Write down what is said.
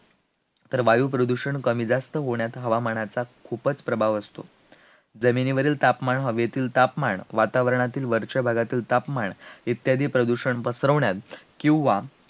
वायुप्रदूषण कमी जास्त होण्यात हवामानाचा खूपच प्रभाव असतो, जमिनीवरील तापमान, हवेतील तापमान, वातावरणातील वरच्या भागातील तापमान, इत्यादी प्रदूषण पसरवण्यात, किंवा